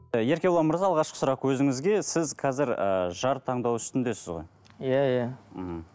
і еркебұлан мырза алғашқы сұрақ өзіңізге сіз қазір ыыы жар таңдау үстіндесіз ғой иә иә мхм